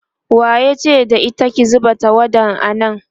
yace da ita "ki zuba tawada a nan!"